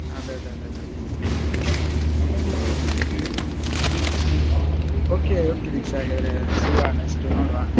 ಅದೇ ಅದೇ ಅದೇ ಅದೇ ಹ್ಮ್‌ ಹ್ಮ್‌ okay okay ದೀಕ್ಷಾ ಹಾಗಾದ್ರೆ ಸಿಗುವ next ನೋಡುವ.